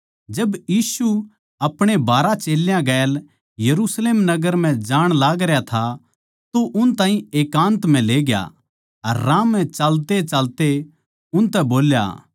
जब यीशु अपणे बारहां चेल्यां गेल यरुशलेम नगर म्ह जाण लागरया था तो उन ताहीं एकान्त म्ह लेग्या अर राह म्ह चालतेचालते उनतै बोल्या